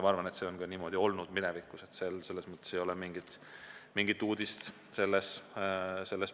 Ma arvan, et see on niimoodi olnud ka minevikus, nii et see põhimõte ei ole mingi uudis.